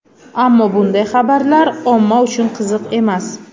Ammo bunday xabarlar omma uchun qiziq emas.